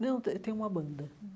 Não, tem tem uma banda hum.